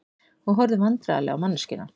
Og horfðum vandræðaleg á manneskjuna.